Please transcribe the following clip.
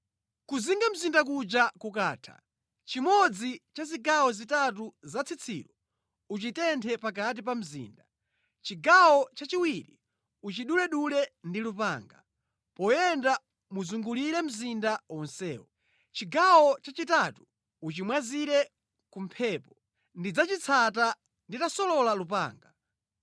Kuzinga mzinda kuja kukatha, chimodzi cha zigawo zitatu za tsitsilo uchitenthe pakati pa mzinda. Chigawo chachiwiri uchiduledule ndi lupanga, poyenda muzungulire mzinda wonsewo. Chigawo chachitatu uchimwazire ku mphepo, ndidzachitsata nditasolola lupanga.